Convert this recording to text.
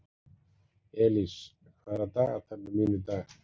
Elís, hvað er á dagatalinu mínu í dag?